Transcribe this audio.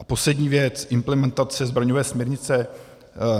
A poslední věc - implementace zbraňové směrnice.